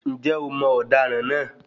Ǹjẹ́ o mọ ọ̀daràn náà?